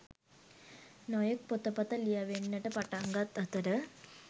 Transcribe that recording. නොයෙක් පොතපත ලියැවෙන්නට පටන්ගත් අතර